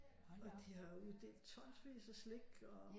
Og de har uddelt tonsvis af slik og